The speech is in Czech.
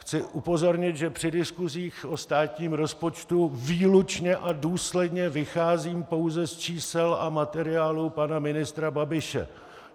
Chci upozornit, že při diskusích o státním rozpočtu výlučně a důsledně vycházím pouze z čísel a materiálů pana ministra Babiše.